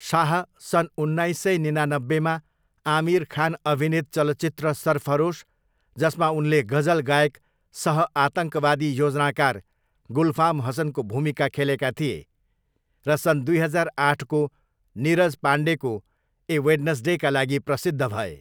शाह सन् उन्नाइस सय निनानब्बेमा आमिर खान अभिनीत चलचित्र सरफरोस, जसमा उनले गजल गायक सह आतङ्कवादी योजनाकार गुलफाम हसनको भूमिका खेलेका थिए, र सन् दुई हजार आठको नीरज पाण्डेको ए वेडनस्डेका लागि प्रसिद्ध भए।